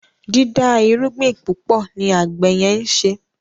dida irúgbìn púpọ ní àgbè yen nṣe